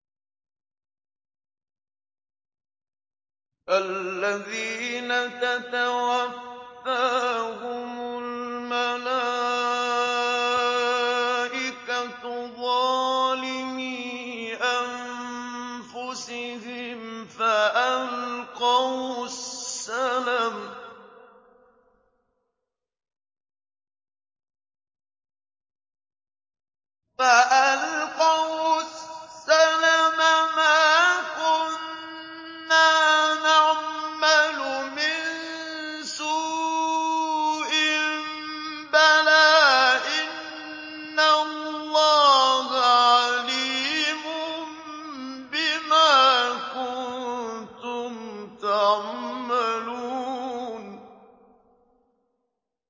الَّذِينَ تَتَوَفَّاهُمُ الْمَلَائِكَةُ ظَالِمِي أَنفُسِهِمْ ۖ فَأَلْقَوُا السَّلَمَ مَا كُنَّا نَعْمَلُ مِن سُوءٍ ۚ بَلَىٰ إِنَّ اللَّهَ عَلِيمٌ بِمَا كُنتُمْ تَعْمَلُونَ